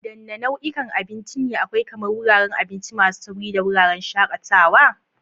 Wadanne nau'ikan abinci ne akwai, kamar wuraren abinci masu sauri da wuraren shakatawa?